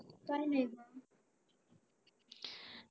काही नाही